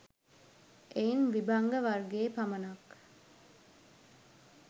එයින් විභංග වර්ගයේ පමණක්